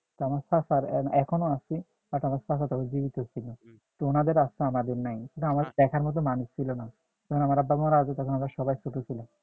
তো আমার চাচার এখনো আছে but আমার চাচা তখন জীবিত ছিল তো উনাদের আছে আমাদের নাই আমাদের দেখার মত মানুষ ছিল না যখন আমার আব্বা মারা গেছে আমরা সবাই ছোট ছিলাম